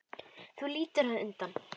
Þú lítur undan.